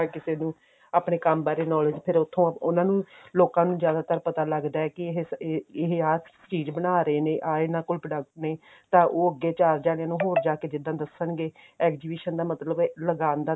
ਆਪਾਂ ਕਿਸੇ ਨੂੰ ਆਪਣੇ ਕੰਮ ਬਾਰੇ knowledge ਫਿਰ ਉੱਥੋਂ ਉਹਨਾ ਨੂੰ ਲੋਕਾਂ ਨੂੰ ਜ਼ਿਆਦਾਤਰ ਪਤਾ ਲੱਗਦਾ ਕੀ ਇਹ ਇਹ ਆ ਚੀਜ਼ ਬਣਾ ਰਹੇ ਨੇ ਆ ਇਹਨਾ ਕੋਲ product ਨੇ ਤਾਂ ਉਹ ਅੱਗੇ ਜਾ ਜਾ ਕੇ ਹੋਰ ਜਾ ਕੇ ਅੱਗੇ ਜਿੱਦਾਂ ਦੱਸਣਗੇ exhibition ਦਾ ਮਤਲਬ